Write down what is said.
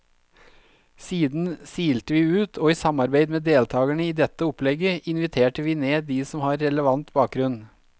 Siden silte vi ut, og i samarbeid med deltagerne i dette opplegget inviterte vi ned de som har relevant bakgrunn.